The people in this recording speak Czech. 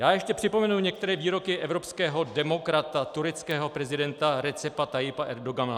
Já ještě připomenu některé výroky evropského demokrata - tureckého prezidenta Recepa Tayyipa Erdogana.